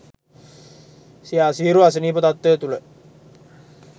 සිය අසීරු අසනීප තත්ත්වය තුළ